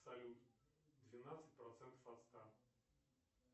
салют двенадцать процентов от ста